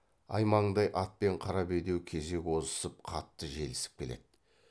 аймаңдай ат пен қара бедеу кезек озысып қатты желісіп келеді